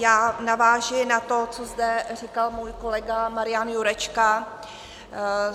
Já navážu na to, co zde říkal můj kolega Marian Jurečka.